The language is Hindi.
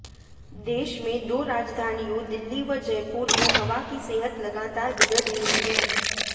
देश में दाे राजधानियाें दिल्ली व जयपुर में हवा की सेहत लगातार बिगड़ रही है